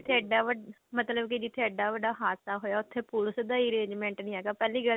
ਇੱਡਾ ਵੱਡਾ ਮਤਲਬ ਕੀ ਜਿੱਥੇ ਇੱਡਾ ਵੱਡਾ ਹਾਦਸਾ ਹੋਇਆ ਉੱਥੇ ਪੁਲਸ ਦਾ ਹੀ arrangement ਨੀ ਹੈਗਾ ਪਹਿਲੀ ਗਲਤੀ